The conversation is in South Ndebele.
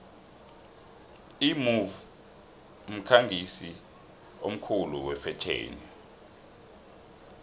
imove mkhangisi omkhulu wefetjheni